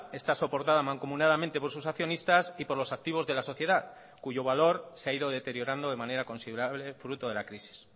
está soportada mancomunadamente por sus accionistas y por los activos de la sociedad cuyo valor se ha ido deteriorando de manera considerable fruto de la crisis